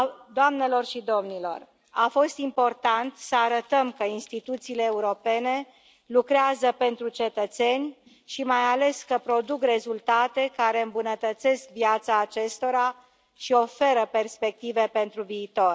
Doamnelor și domnilor, a fost important să arătăm că instituțiile europene lucrează pentru cetățeni și, mai ales, că produc rezultate care îmbunătățesc viața acestora și oferă perspective pentru viitor.